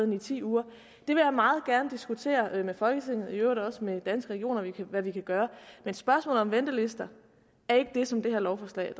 det ti uger og meget gerne diskutere med folketinget og i øvrigt også med danske regioner hvad vi kan gøre men spørgsmålet om ventelister er ikke det som det her lovforslag